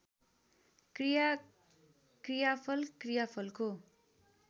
क्रिया क्रियाफल क्रियाफलको